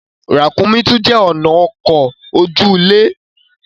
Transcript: Ràkúnmí tún jé ọnà ọkọ oju-ile.